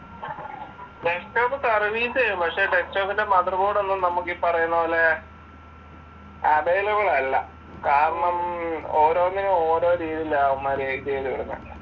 Desktop service ചെയ്യാം പക്ഷെ ഡെസ്ക്ടോപ്പിന്റെ മദർബോർഡ് നമ്മക്കീപറയുന്നപോലെ അവൈലബിൾ അല്ല കാരണം ഓരോന്നിനും ഒരുരീതിയിലാ അവന്മാർ ചെയ്തുവിടുന്നെ.